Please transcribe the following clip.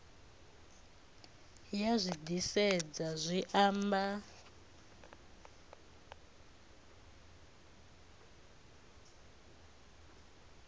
ya zwi disedza zwi amba